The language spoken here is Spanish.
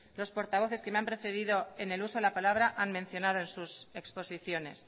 los portavoces que me ha precedido en el uso de la palabra han mencionado en sus exposiciones